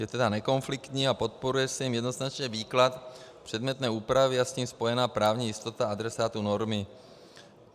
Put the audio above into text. Je tedy nekonfliktní a podporuje se jím jednoznačně výklad předmětné úpravy a s tím spojená právní jistota adresátů normy.